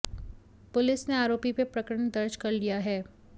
police ने आरोपी पर प्रकरण दर्ज कर लिया है